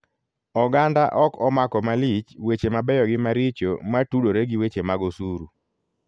Oganda ok omako malich weche mabeyo gi maricho matudore gi weche mag osuru.